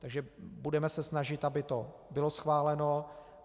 Takže budeme se snažit, aby to bylo schváleno.